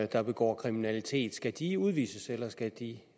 der begår kriminalitet skal de udvises eller skal de